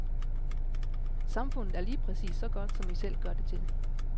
Samfundet er lige præcis så godt, som vi selv gør det til.